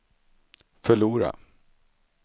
förlora